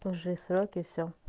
тоже и сроки и всё